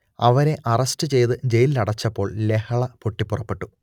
അവരെ അറസ്റ്റ് ചെയ്ത് ജയിലിലടച്ചപ്പോൾ ലഹള പൊട്ടിപ്പുറപ്പെട്ടു